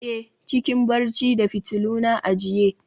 a, cikin barci da fitiluna a jiya